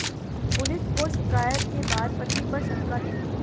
police को शिकायत के बाद पति पर शंका थी